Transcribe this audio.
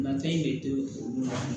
Mancɛ in de to olu la